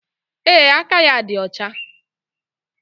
Ee, aka ya dị ọcha